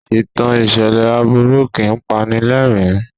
Ìtàn ìṣẹ̀lẹ̀ aburu kìí pani lẹ́rìn-ín.